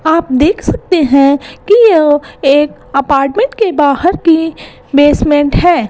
आप देख सकते हैं कि यह एक अपार्टमेंट के बाहर के बेसमेंट है।